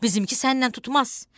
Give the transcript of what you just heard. Bizimki sənlə tutmaz.